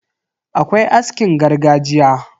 Akwai askin gargajiya.